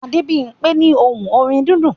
Adebimpe ní ohùn orin dídùn